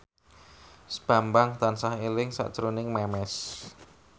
Bambang tansah eling sakjroning Memes